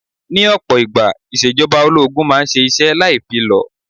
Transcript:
Ní ọ̀pọ̀ ìgbà, ìṣèjọba ológun máa ń ṣe iṣẹ́ láì fi lọ̀.